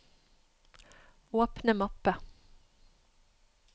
åpne mappe